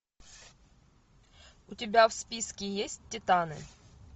у тебя в списке есть титаны